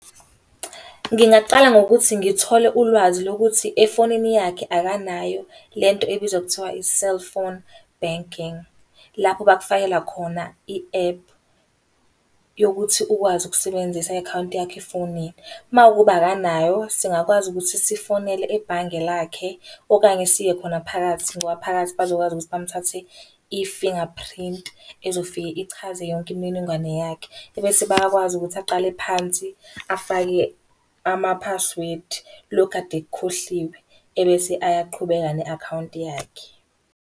Ngingaqala ngokuthi ngithole ulwazi lokuthi efonini yakhe akanayo lento ebizwa ngokuthiwa i-cellphone banking. Lapho bakufakela khona i-ephu yokuthi ukwazi ukusebenzisa i-akhawunti yakho efonini. Uma kuwukuba akanayo singakwazi ukuthi sifonele ebhange lakhe, okanye siye khona phakathi ngoba phakathi bazokwazi ukuthi bamuthathe ifinga printi, ezofike ichaze yonke imininingwane yakhe. Ebese bayakwazi ukuthi aqale phansi afake ama-password, lokhu akade ekukhohliwe. Ebese ayaqhubeka ne-akhawunti yakhe.